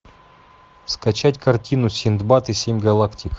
скачать картину синдбад и семь галактик